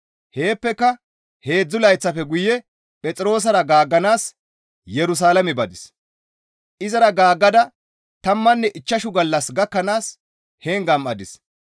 Heeppeka heedzdzu layththafe guye Phexroosara gaagganaas Yerusalaame badis; izara gaaggada tammanne ichchashu gallas gakkanaas heen gam7adis.